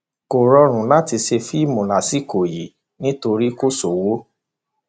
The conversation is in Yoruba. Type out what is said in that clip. kò rọrùn láti ṣe fíìmù lásìkò yìí nítorí kò sówó